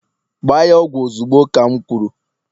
Gba ya ogwu ozugbo ka'm kwuru!